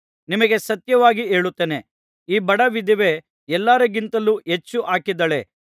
ನಿಮಗೆ ಸತ್ಯವಾಗಿ ಹೇಳುತ್ತೇನೆ ಈ ಬಡ ವಿಧವೆ ಎಲ್ಲರಿಗಿಂತಲೂ ಹೆಚ್ಚು ಹಾಕಿದ್ದಾಳೆ